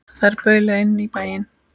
Þær baula inn í bæinn.